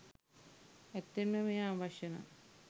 ඇත්තෙන්ම මෙය අවශ්‍ය නම්